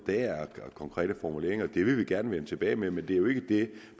der er konkrete formuleringer det vil vi gerne vende tilbage med men det er jo ikke det